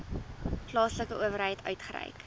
plaaslike owerheid uitgereik